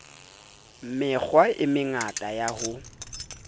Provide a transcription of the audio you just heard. mekgwa e mengata ya ho